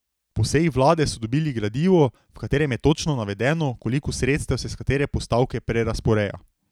Po seji vlade so dobili gradivo, v katerem je točno navedeno, koliko sredstev se s katere postavke prerazporeja.